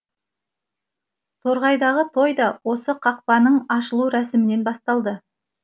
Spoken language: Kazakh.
торғайдағы той да осы қақпаның ашылу рәсімінен басталды